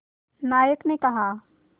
नायक ने कहा